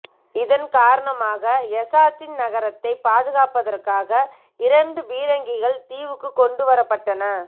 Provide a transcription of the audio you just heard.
இதன் காரணமாக எசாச்சி நகரத்தைப் பாதுகாப்பதற்காக இரண்டு பீரங்கிகள் தீவுக்குக் கொண்டு வரப்பட்டன